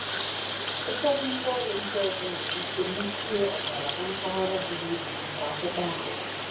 Ụfọdụ ngwaọrụ ndị ọzọ nwere ike mechie ọbara na mpaghara buru ibu nke akpụkpọ ahụ.